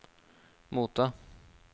motta